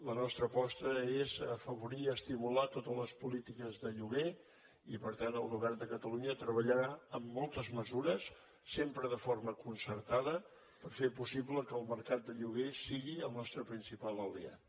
la nostra aposta és afavorir i estimular totes les polítiques de lloguer i per tant el govern de catalunya treballarà amb moltes mesures sempre de forma concertada per fer possible que el mercat de lloguer sigui el nostre principal aliat